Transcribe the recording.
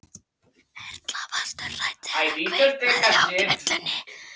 Erla: Varstu hrædd þegar það kviknaði á, á bjöllunni?